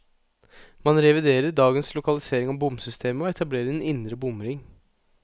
Man reviderer dagens lokalisering av bomsystemet, og etablerer en indre bomring.